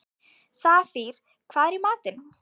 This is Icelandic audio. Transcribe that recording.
Safír, hvað er í matinn?